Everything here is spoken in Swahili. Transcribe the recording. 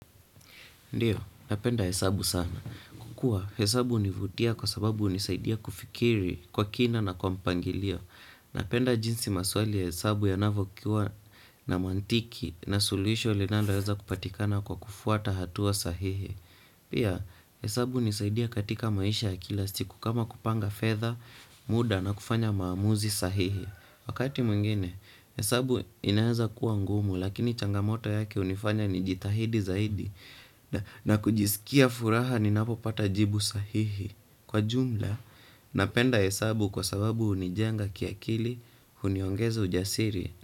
Ndiyo, napenda hesabu sana. Kuwa, hesabu hunivutia kwa sababu hunisaidia kufikiri kwa kina na kwa mpangilio. Napenda jinsi maswali ya hesabu yanavokuwa na mantiki na suluhisho linaloweza kupatikana kwa kufuata hatua sahihi. Pia, hesabu hunisaidia katika maisha ya kila siku kama kupanga fedha, muda na kufanya maamuzi sahihi. Wakati mwingine, hesabu inaweza kuwa ngumu lakini changamoto yake hunifanya nijitahidi zaidi. Na kujisikia furaha ninapopata jibu sahihi. Kwa jumla, napenda hesabu kwa sababu hunijenga kiakili, huniongeza ujasiri.